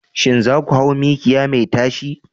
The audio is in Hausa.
Shin za ku hau mikiya mai tashi?